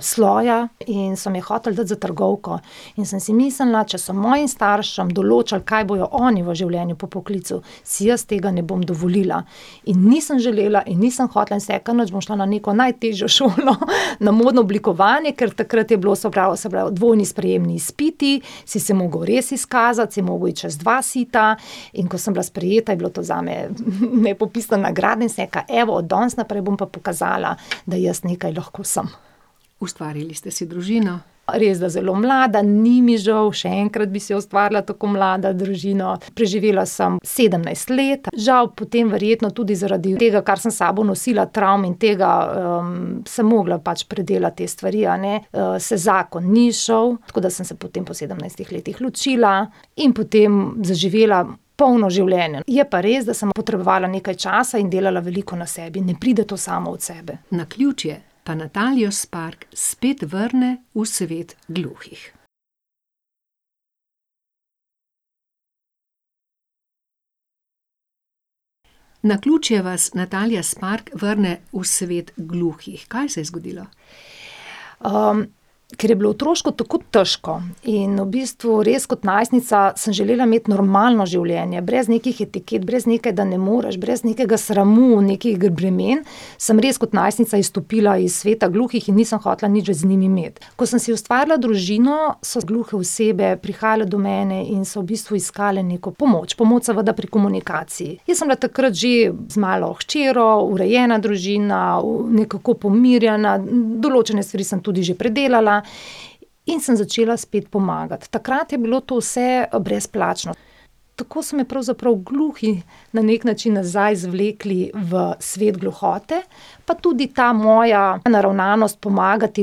sloja, in so me hoteli dati za trgovko. In sem si mislila: "Če so mojim staršem določali, kaj bojo oni v življenju po poklicu, si jaz tega ne bom dovolila." In nisem želela in nisem hotela in sem rekla: "Nič, bom šla na neko najtežjo šolo, na modno oblikovanje." Ker takrat je bilo, se pravi, se pravi dvojni sprejemni izpiti, si se mogel res izkazati, si mogel iti čez dve siti. In ko sem bila sprejeta, je bilo to zame, nepopisna nagrada in sem rekla: "Evo, od danes naprej bom pa pokazala, da jaz nekaj lahko sem." Ustvarili ste si družino. Res, da zelo mlada. Ni mi žal, še enkrat bi si ustvarila tako mlada družino. Preživela sem sedemnajst let, žal potem verjetno tudi zaradi tega, kar sem s sabo nosila, travm in tega, sem mogla pač predelati te stvari, a ne. se zakon ni izšel. Tako da sem se potem po sedemnajstih letih ločila in potem zaživela polno življenje. Je pa res, da sem potrebovala nekaj časa in delala veliko na sebi. Ne pride to samo od sebe. Naključje pa Natalijo Spark spet vrne v svet gluhih. Naključje vas, Natalija Spark, vrne v svet gluhih. Kaj se je zgodilo? ker je bilo otroštvo tako težko in v bistvu res kot najstnica sem želela imeti normalno življenje, brez nekaj etiket, brez nekaj, da ne moreš, brez nekega sramu, nekih bremen, sem res kot najstnica izstopila iz sveta gluhih in nisem hotela nič več z njimi imeti. Ko sem si ustvarila družino, so gluhe osebe prihajale do mene in so v bistvu iskale neko pomoč, pomoč seveda pri komunikaciji. Jaz sem bila takrat že z malo hčerjo, urejena družina, nekako pomirjena, določene stvari sem tudi že predelala in sem začela spet pomagati. Takrat je bilo to vse brezplačno. Tako so me pravzaprav gluhi na neki način nazaj zvlekli v svet gluhote. Pa tudi ta moja naravnanost pomagati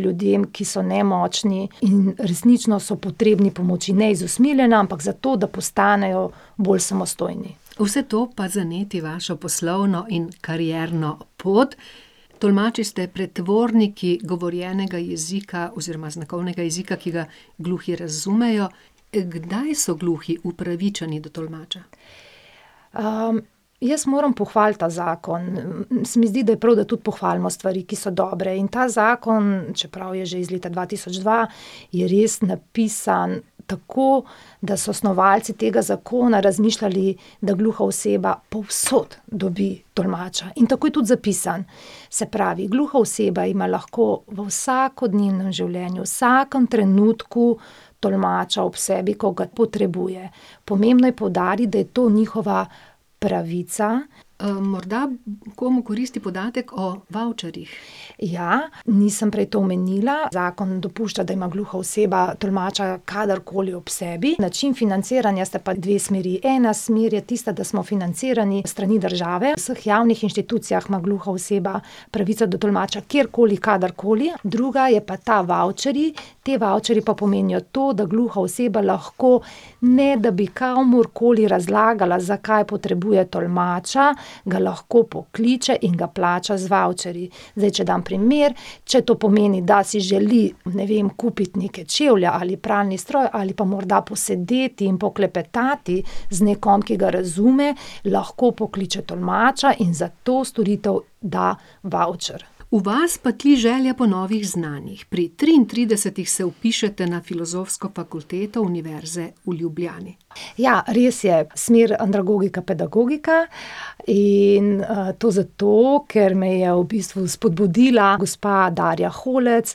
ljudem, ki so nemočni in resnično so potrebni pomoči, ne iz usmiljenja, ampak zato, da postanejo bolj samostojni. Vse to pa zaneti vašo poslovno in karierno pot. Tolmači ste pretvorniki govorjenega jezika oziroma znakovnega jezika, ki ga gluhi razumejo. kdaj so gluhi upravičeni do tolmača? jaz moram pohvaliti ta zakon. Se mi zdi, da je prav, da tudi pohvalimo stvari, ki so dobre, in ta zakon, čeprav je že iz leta dva tisoč dva, je res napisan tako, da so snovalci tega zakona razmišljali, da gluha oseba povsod dobi tolmača. In tako je tudi zapisan. Se pravi, gluha oseba ima lahko v vsakodnevnem življenju v vsakem trenutku tolmača ob sebi, ko ga potrebuje. Pomembno je poudariti, da je to njihova pravica. morda komu koristi podatek o vavčerjih. Ja. Nisem prej to omenila, Zakon dopušča, da ima gluha oseba tolmača kadarkoli ob sebi. Način financiranja sta pa dve smeri. Ena smer je tista, da smo financirani s strani države, v vseh javnih inštitucijah ima gluha oseba pravico do tolmača kjerkoli, kadarkoli. Druga je pa ta vavčerji. Ti vavčerji pa pomenijo to, da gluha oseba lahko, ne da bi komurkoli razlagala, zakaj potrebuje tolmača, ga lahko pokliče in ga plača z vavčerji. Zdaj, če dam primer. Če to pomeni, da si želi, ne vem, kupiti neke čevlje ali pralni stroj ali pa morda posedeti in poklepetati z nekom, ki ga razume, lahko pokliče tolmača in za to storitev da vavčer. V vas pa tri želja po novih znanjih. Pri triintridesetih se vpišete na Filozofsko fakulteto Univerze v Ljubljani. Ja, res je. Smer andragogika-pedagogika. In, to zato, ker me je v bistvu spodbudila gospa Darja Holc,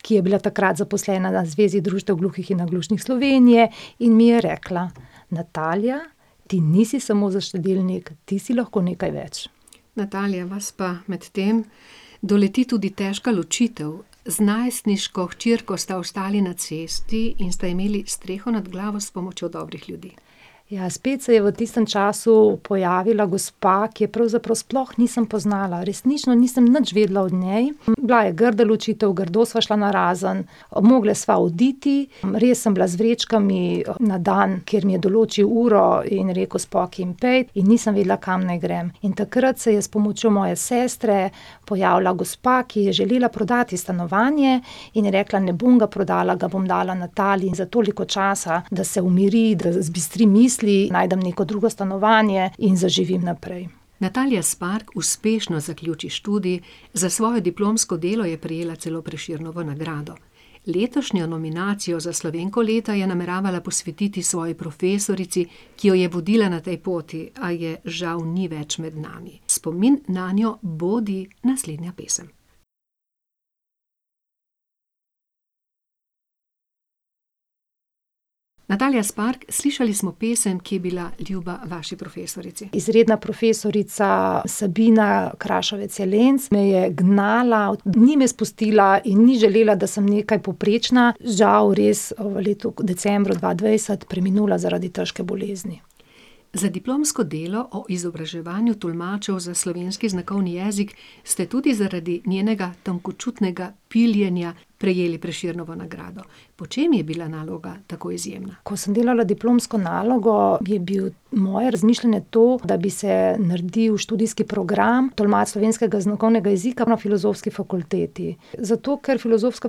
ki je bila takrat zaposlena na Zvezi društev gluhih in naglušnih Slovenije in mi je rekla: "Natalija, ti nisi samo za štedilnik, ti si lahko nekaj več." Natalija, vas pa medtem doleti tudi težka ločitev. Z najstniško hčerko sta ostali na cesti in sta imeli streho nad glavo s pomočjo dobrih ljudi. Ja, spet se je v tistem času pojavila gospa, ki je pravzaprav sploh nisem poznala. Resnično nisem nič vedela o njej. Bila je grda ločitev, grdo sva šla narazen, mogle sva oditi. Res sem bila z vrečkami na dan, kjer mi je določil uro in rekel: "Spokaj in pojdi." In nisem vedela, kam naj grem. In takrat se je s pomočjo moje sestre pojavila gospa, ki je želela prodati stanovanje, in je rekla: "Ne bom ga prodala, ga bom dala Nataliji za toliko časa, da se umiri, da zbistri misli." Najdem neko drugo stanovanje in zaživim naprej. Natalija Spark uspešno zaključi študij, za svoje diplomsko delo je prejela celo Prešernovo nagrado. Letošnjo nominacijo za Slovenko leta je nameravala posvetiti svoji profesorici, ki jo je vodila na tej poti, a je žal ni več med nami. Spomin nanjo bodi naslednja pesem. Natalija Spark, slišali smo pesem, ki je bila ljuba vaši profesorici. Izredna profesorica Sabina Kraševec Jelenc me je gnala, ni me spustila in ni želela, da sem nekaj povprečna. Žal res v decembru dva dvajset preminula zaradi težke bolezni. Za diplomsko delo o izobraževanju tolmačev za slovenski znakovni jezik ste tudi zaradi njenega tankočutnega piljenja prejeli Prešernovo nagrado. Po čem je bila naloga tako izjemna? Ko sem delala diplomsko nalogo, je bilo moje razmišljanje to, da bi se naredil študijski program tolmač slovenskega znakovnega jezika na Filozofski fakulteti. Zato ker Filozofska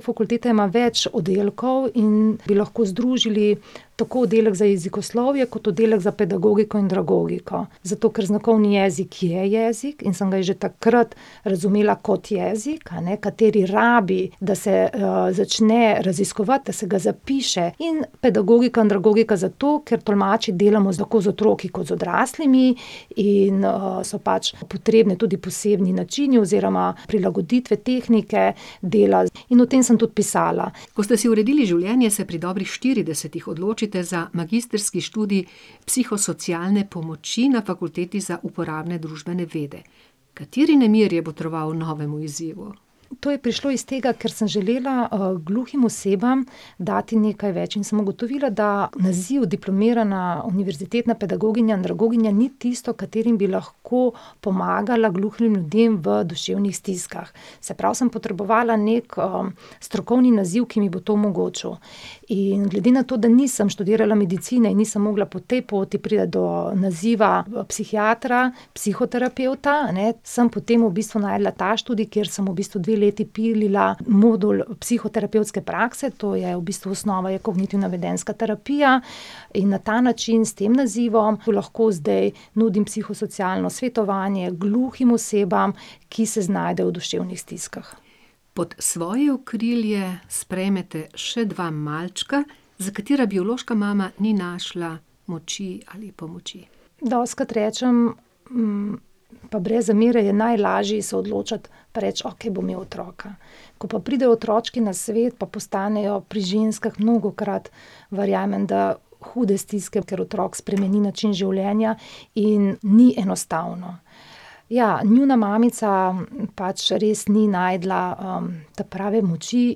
fakulteta ima več oddelkov in bi lahko združili tako oddelek za jezikoslovje kot oddelek za pedagogiko in andragogiko. Zato ker znakovni jezik je jezik in sem ga jaz že takrat razumela kot jezik, a ne, kateri rabi, da se, začne raziskovati, da se ga zapiše. In pedagogika-andragogika zato, ker tolmači delamo tako z otroki kot z odraslimi in, so pač potrebni tudi posebni načini oziroma prilagoditve, tehnike dela. In o tem sem tudi pisala. Ko ste si uredili življenje, se pri dobrih štiridesetih odločite za magistrski študij psihosocialne pomoči na Fakulteti za uporabne družbene vede. Kateri nemir je botroval novemu izzivu? To je prišlo iz tega, ker sem želela, gluhim osebam dati nekaj več. In sem ugotovila, da naziv diplomirana univerzitetna pedagoginja in andragoginja ni tisto, katerim bi lahko pomagala gluhim ljudem v duševnih stiskah. Se pravi, sem potrebovala neki, strokovni naziv, ki mi bo to omogočil. In glede na to, da nisem študirala medicine in nisem mogla po tej poti priti do naziva psihiatra, psihoterapevta, a ne, sem potem v bistvu našla ta študij, kjer sem v bistvu dve leti pilila modul psihoterapevtske prakse, to je v bistvu osnova je kognitivna vedenjska terapija. In na ta način, s tem nazivom, lahko zdaj nudim psihosocialno svetovanje gluhim osebam, ki se znajdejo v duševnih stiskah. Pod svoje okrilje sprejmete še dva malčka, za katera biološka mama ni našla moči ali pomoči. Dostikrat rečem, pa brez zamere, je najlaže se odločiti pa reči: "Okej, bom imel otroka." Ko pa pridejo otročki na svet, pa postanejo pri ženskah mnogokrat, verjamem, da hude stiske, ker otrok spremeni način življenja in ni enostavno. Ja, njuna mamica pač res ni našla, ta prave moči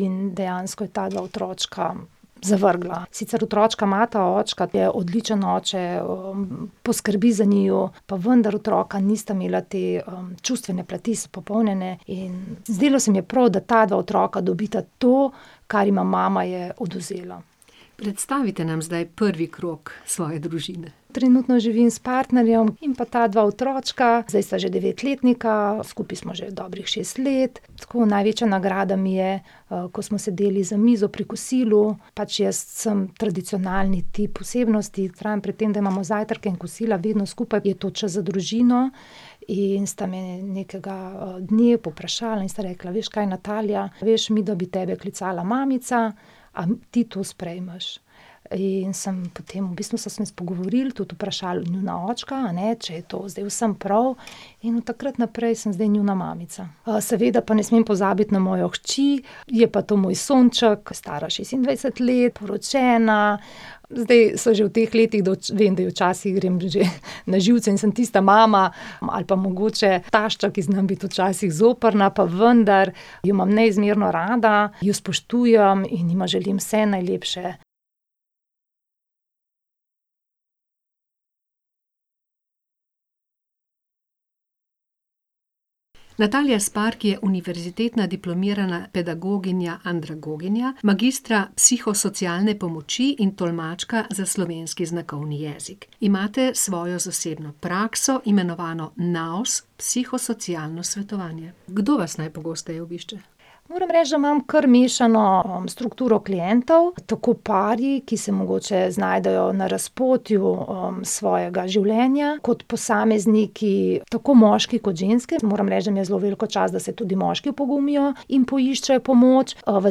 in dejansko je ta dva otročka zavrgla. Sicer otročka imata očka, ki je odličen oče, poskrbi za njiju. Pa vendar otroka nista imela te, čustvene plati izpopolnjene in zdelo se mi je prav, da ta dva otroka dobita to, kar jima mama je odvzela. Predstavite nam zdaj prvi krog svoje družine. Trenutno živim s partnerjem in pa ta dva otročka, zdaj sta že devetletnika, skupaj smo že dobrih šest let. Tako največja nagrada mi je, ko smo sedeli za mizo pri kosilu, pač jaz sem tradicionalni tip osebnosti, vztrajam pri tem, da imamo zajtrke in kosila vedno skupaj, je to čas za družino, in sta me nekega dne povprašala in sta rekla: "Veš kaj, Natalija, veš, midva bi tebe klicala mamica. A ti to sprejmeš?" In sem potem, v bistvu smo se pogovorili, tudi vprašali njunega očka, a ne, če je to zdaj vsem prav, in od takrat naprej sem zdaj njuna mamica. seveda pa ne smem pozabiti na mojo hči. Je pa to moj sonček, stara šestindvajset let, poročena, zdaj so že v teh letih, d vem, da jim včasih grem že na živce in sem tista mama ali pa mogoče tašča, ki zna biti včasih zoprna. Pa vendar jo imam neizmerno rada, ju spoštujem in jima želim vse najlepše. Natalija Spark je univerzitetna diplomirana pedagoginja andragoginja, magistra psihosocialne pomoči in tolmačka za slovenski znakovni jezik. Imate svojo zasebno prakso, imenovano Naos, psihosocialno svetovanje. Kdo vas najpogosteje obišče? Moram reči, da imam kar mešano, strukturo klientov, tako pari, ki se mogoče znajdejo na razpotju, svojega življenja, kot posamezniki, tako moški kot ženske. Jaz moram reči, da mi je v zelo veliko čast, da se tudi moški opogumijo in poiščejo pomoč. v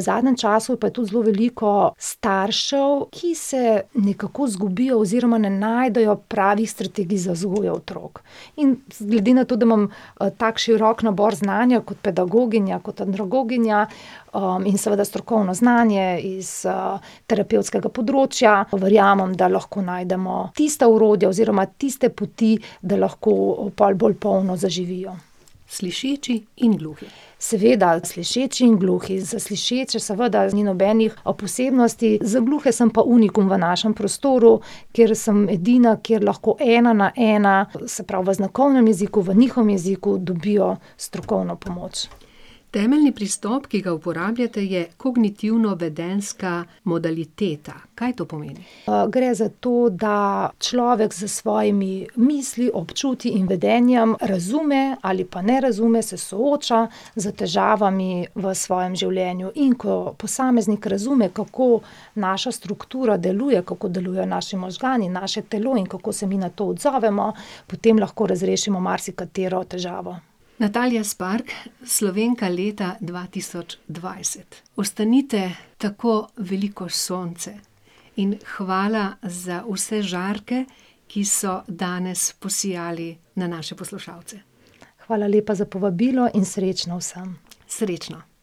zadnjem času pa je tudi zelo veliko staršev, ki se nekako zgubijo oziroma ne najdejo pravih strategij za vzgojo otrok. In glede na to, da imam, tako širok nabor znanja kot pedagoginja, kot andragoginja, in seveda strokovno znanje iz, terapevtskega področja, verjamem, da lahko najdemo tista orodja oziroma tiste poti, da lahko pol bolj polno zaživijo. Slišeči in gluhi. Seveda. Slišeči in gluhi. In za slišeče seveda ni nobenih, posebnosti, za gluhe sem pa unikum v našem prostoru, kjer sem edina, kjer lahko ena na ena, se pravi v znakovnem jeziku, v njihovem jeziku, dobijo strokovno pomoč. Temeljni pristop, ki ga uporabljate, je kognitivno-vedenjska modaliteta. Kaj to pomeni? gre za to, da človek s svojimi misli, občutji in vedenjem razume ali pa ne razume, se sooča s težavami v svojem življenju. In ko posameznik razume, kako naša struktura deluje, kako delujejo naši možgani, naše telo in kako se mi na to odzovemo, potem lahko razrešimo marsikatero težavo. Natalija Spark, Slovenka leta dva tisoč dvajset. Ostanite tako veliko sonce in hvala za vse žarke, ki so danes posijali na naše poslušalce. Hvala lepa za povabilo in srečno vsem. Srečno.